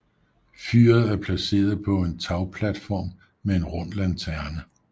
Fyret er placeret på en tagplatform med en rund lanterne